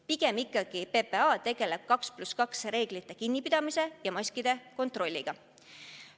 Pigem ikkagi PPA tegeleb 2 + 2 reeglist kinnipidamise ja maski kandmise kontrolliga.